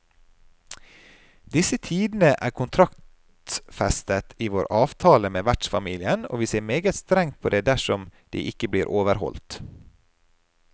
Disse tidene er kontraktsfestet i vår avtale med vertsfamilien, og vi ser meget strengt på det dersom de ikke blir overholdt.